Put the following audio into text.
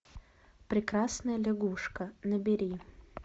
прекрасная лягушка набери